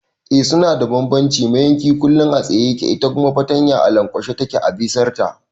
Eh suna da bambanci, mayanki kullum a tsaye yake ita kuma fartanya a lankwashe take a bisar ta